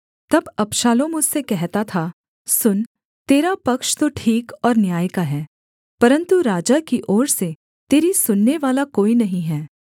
तब अबशालोम उससे कहता था सुन तेरा पक्ष तो ठीक और न्याय का है परन्तु राजा की ओर से तेरी सुननेवाला कोई नहीं है